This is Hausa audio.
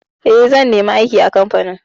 Eh, zan nemi aiki a kamfani.